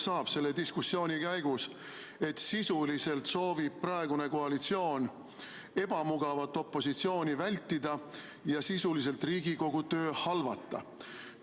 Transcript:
No selle diskussiooni käigus saab üha selgemaks, et praegune koalitsioon soovib ebamugavat opositsiooni vältida ja sisuliselt Riigikogu töö halvata.